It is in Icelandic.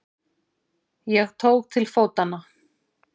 Ég tók til fótanna.